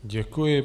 Děkuji.